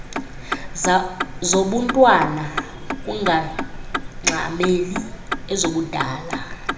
zobuntwana ungangxameli ezobudala